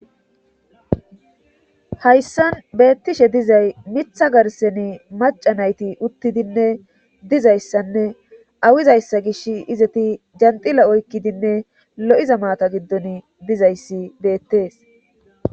Hayssan beettishe dizay mitha garseni maca nayti uttidinne dizayssanne awizayssa gish izati janxila oykkidinne lo'iza maata giddon dizayssi beettees.